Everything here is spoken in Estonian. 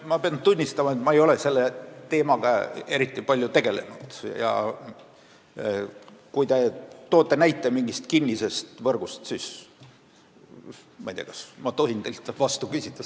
Ma pean tunnistama, et ma ei ole selle teemaga eriti palju tegelenud, ja kui te viitate mingile kinnisele võrgule, siis ma tahaksin hoopis teilt selle kohta küsida.